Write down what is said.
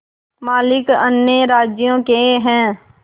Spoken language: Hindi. मालिक अन्य राज्यों के हैं